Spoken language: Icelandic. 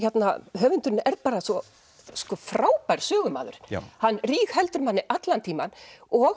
höfundurinn er bara svo frábær sögumaður hann rígheldur manni allan tímann og